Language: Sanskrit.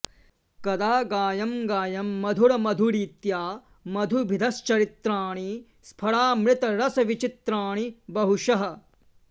कदा गायं गायं मधुरमधुरीत्या मधुभिदश् चरित्राणि स्फारामृतरसविचित्राणि बहुशः